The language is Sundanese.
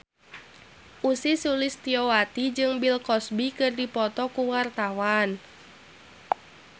Ussy Sulistyawati jeung Bill Cosby keur dipoto ku wartawan